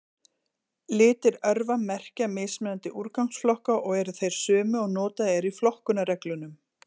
Litir örva merkja mismunandi úrgangsflokka og eru þeir sömu og notaðir eru í flokkunarreglunum.